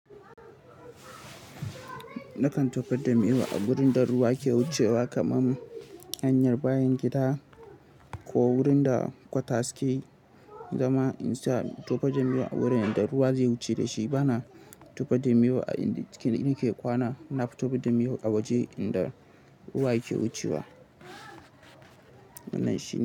Nakan tofa da miyau wurin da ruwa ke wucewa kamar hanyar bayan gida ko wurin da kwata suke zama. Insa in tofar da miyau a wurin inda ruwa zai wuce dashi bana tofa damewa a inda jikin ɗaki ke kwana. Nafi tofar da miyau a waje inda ruwa yake wucewa. Wannan shine.